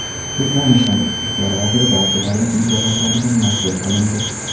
Turkmaniston ichki ishlar vaziri barcha davlat mukofotlaridan mahrum qilindi.